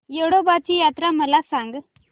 येडोबाची यात्रा मला सांग